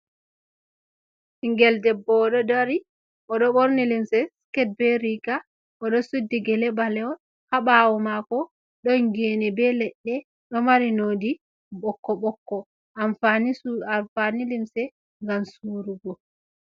Ɓiingel debbo oɗo dari oɗo borni limse siket be riga oɗo suɗɗi gele ɓalewol ha ɓawo mako don gene be ledde do mari noɗi bokko bokko amfani limse ngam surugo.